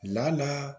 La n'a